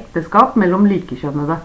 ekteskap mellom likekjønnede